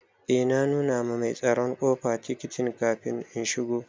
Eh na nuna ma mai tsaron ƙofa tikitin kafin in shigo.